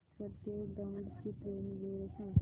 हडपसर ते दौंड ची ट्रेन वेळ सांग